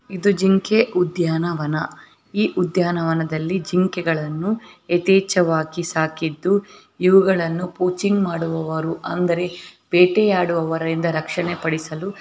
ಇದು ಜಿಂಕೆ ಉದ್ಯಾನವನ ಈ ಉದ್ಯಾನವನದಲ್ಲಿ ಜಿಂಕೆ ಗಳನ್ನೂ ಎತೇಚ್ಛವಾಗಿ ಸಾಕಿದ್ದು ಇವಗಳ್ಳನು ಕೋಚಿಂಗ್ ಮಾಡುವರ ಅಂದರೆ ಬೇಟೆ ಆಡುವರು ರಕ್ಷಣೆ ಪಡಿಸಲು --